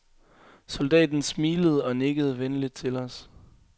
Soldaten smilede og nikkede venligt til os.